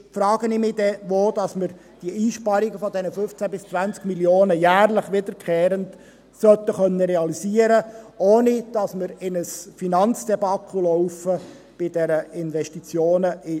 Sonst frage ich mich, wo wir diese Einsparungen von 15–20 Mio. Franken jährlich wiederkehrend realisieren sollen, ohne dass wir bei den Investitionen in die ICT in ein Finanzdebakel geraten.